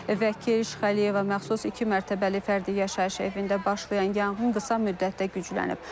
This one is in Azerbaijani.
Vəkil Şxəliyeva məxsus iki mərtəbəli fərdi yaşayış evində başlayan yanğın qısa müddətdə güclənib.